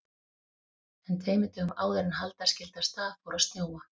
En tveimur dögum áður en halda skyldi af stað fór að snjóa.